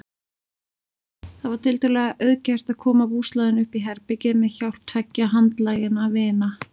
Það var tiltölulega auðgert að koma búslóðinni uppí herbergið með hjálp tveggja handlaginna vina.